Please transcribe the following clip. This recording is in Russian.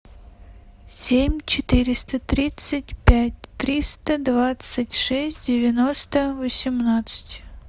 семь четыреста тридцать пять триста двадцать шесть девяносто восемнадцать